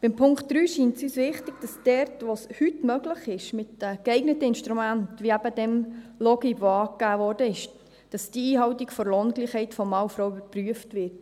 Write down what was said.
Bei Punkt 3 scheint uns wichtig, dass dort, wo es heute möglich ist, mit geeigneten Instrumenten, eben mit dieser Software Logib, die angegeben wurde, die Einhaltung der Lohngleichheit von Mann und Frau überprüft wird.